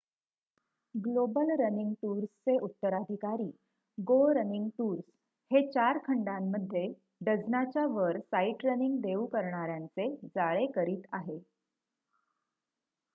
global running tours चे उत्तराधिकारी go running tours हे 4 खंडामध्ये डझनाच्या वर साईटरनिंग देऊ करणाऱ्यांचे जाळे करीत आहे